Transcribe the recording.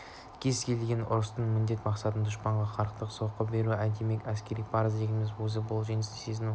кез келген ұрыстың міндет-мақсаты дұшпанға қақырата соққы беру демек әскери парыз дегеніміздің өзі бұл жеңісті сезіну